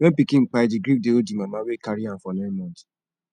when pikin kpai di grief dey hold di mama wey carry am for nine months